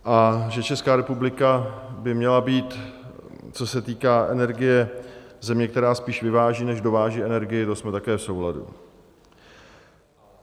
A že Česká republika by měla být, co se týká energie, země, která spíš vyváží, než dováží energii, to jsme také v souladu.